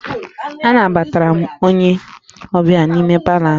Anabatara m onye ọbịa m n'ime palọ ahụ